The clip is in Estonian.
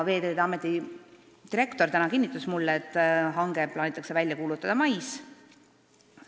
Veeteede Ameti direktor täna kinnitas mulle, et hange plaanitakse välja kuulutada mais.